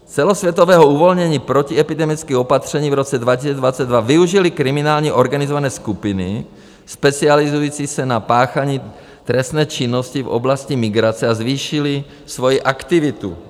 Celosvětového uvolnění protiepidemických opatření v roce 2022 využily kriminální organizované skupiny specializující se na páchání trestné činnosti v oblasti migrace a zvýšily svoji aktivitu.